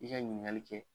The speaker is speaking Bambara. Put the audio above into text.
I ka ɲininkali kɛ